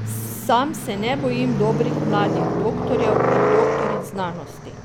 Sam se ne bojim dobrih mladih doktorjev in doktoric znanosti.